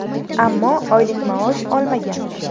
Ammo oylik maosh olmagan.